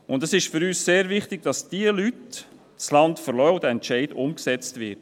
Für uns ist es sehr wichtig, dass diese Leute das Land verlassen und der Entscheid umgesetzt wird.